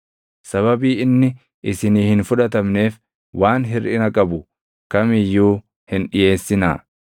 Sababii inni isinii hin fudhatamneef waan hirʼina qabu kam iyyuu hin dhiʼeessinaa